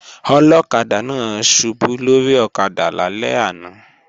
Ọlọ́kadà náà ṣubú lórí ọ̀kadà lálẹ́ àná